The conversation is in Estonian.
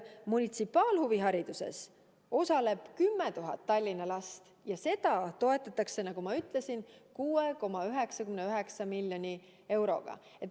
Munitsipaalhuvihariduses osaleb 10 000 Tallinna last ja seda toetatakse, nagu ma ütlesin, 6,99 miljoni euroga.